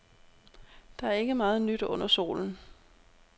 Der er ikke meget nyt under solen.